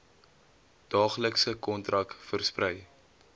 daaglikse kontak versprei